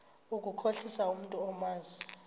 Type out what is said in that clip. ukukhohlisa umntu omazi